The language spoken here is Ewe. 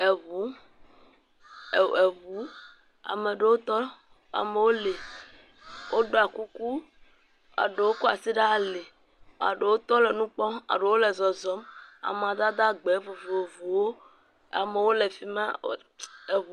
Eŋu. E eŋu. Ame aɖewo tɔ. Amewo li. Woɖɔ kuku, eɖewo kɔ asi ɖe ali. Eɖewo tɔ le nu kpɔm. eɖewo le zɔzɔm amadede gbe vovovowo. Amewo le fima e ts.